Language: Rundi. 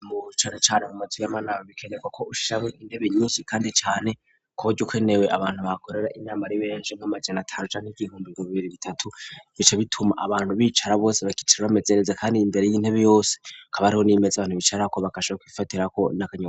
Mucicaro cane mu mazu y'amanama bikerega ko ushishabo intebe nyinshi kandi cane kuburyo ukenewe abantu bakorera inama r'iberenje mk'amajana ataruja n'igihumbi ku bibiri bitatu bice bituma abantu bicara bose bakicira bamezereze kandi imbere y'intebe yose kaba ariho nimeze abantu bicar ko bakashaa kifatiraho na kanyobwa.